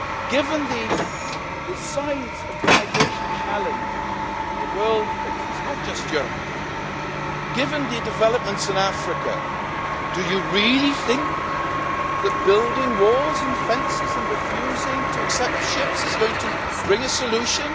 Given the size of the migration challenge the world faces, not just Europe, given the developments in Africa, do you really think that building walls and fences and refusing to accept ships is going to bring a solution?